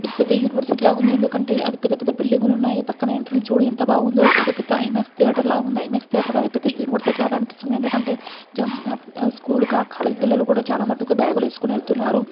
ఇది పెద్ద యూనివర్సిటీ లాగా ఉంది. ఎందుకంటే అతి పెద్ద పెద్ద బిల్డింగు లు ఉన్నాయి. పక్కన ఎంట్రెన్స్ చూడు ఎంత బాగుందో ఏదో పెద్ద ఐమాక్స్ థియేటర్ లాగా ఉంది. ఐమాక్స్ థియేటర్ కాదు పెద్ద యూనివర్సిటీ లాగా అనిపిస్తుంది. ఎందుకంటే స్కూల్ కాలేజీ పిల్లలు చాలా మట్టుకు బ్యాగు లు వేసుకొని వెళ్తూ ఉన్నారు.